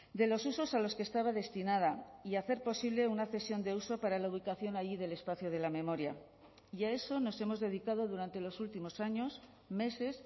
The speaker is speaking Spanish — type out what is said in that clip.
de los usos a los que estaba destinada y hacer posible una cesión de uso para la ubicación allí del espacio de la memoria y a eso nos hemos dedicado durante los últimos años meses